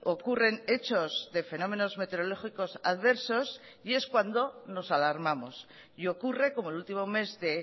ocurren hechos de fenómenos meteorológicos adversos y es cuando nos alarmamos y ocurre como el último mes de